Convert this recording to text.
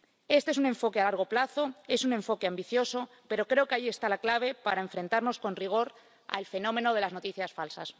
Esto es un enfoque a largo plazo, es un enfoque ambicioso, pero creo que ahí está la clave para enfrentarnos con rigor al fenómeno de las noticias falsas.